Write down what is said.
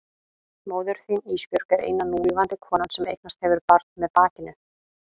Móðir þín Ísbjörg er eina núlifandi konan sem eignast hefur barn með bakinu.